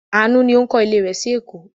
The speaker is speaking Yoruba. Àánú ni ó ń kọ́lé rẹ̀ sí Èkó.